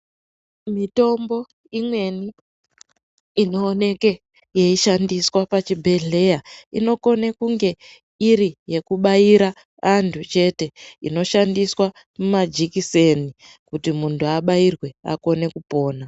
Mitombo imweni inooneke yeishandiswa pachibhedhleya inokone kunge iri yekubaira antu chete inoshandiswa majekiseni kuti muntu abairwe akone kupona.